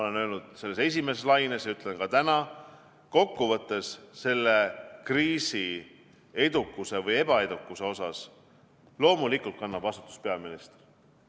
Ma ütlesin seda esimese laine ajal ja ütlen ka täna, et kokkuvõttes kannab selle kriisi edukuse või ebaedukuse eest vastutust loomulikult peaminister.